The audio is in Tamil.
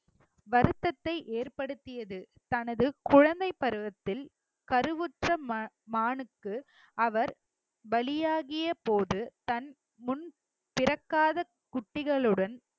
வருத்தத்தை ஏற்படுத்தியது தனது குழந்தைப் பருவத்தில் கருவுற்ற மா~ மானுக்கு அவர் பலியாகிய போது தன் முன் பிறக்காத குட்டிகளுடன்